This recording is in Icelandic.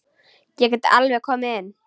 Ég get alveg komið inn.